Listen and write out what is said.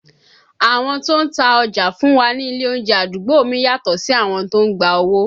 Àwọn tó ń ta ọjà fún wa ní ilé oúnjẹ àdúgbò mi yàtọ̀ sí àwọn tó ń gba owó